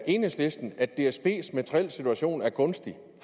enhedslisten at dsbs materielle situation er gunstig